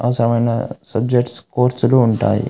అవసరమైన సబ్జక్ట్స్ కోర్సులు ఉంటాయి.